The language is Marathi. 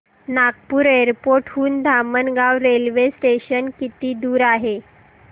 नागपूर एअरपोर्ट हून धामणगाव रेल्वे स्टेशन किती दूर आहे